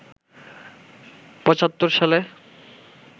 ৭৫ সালে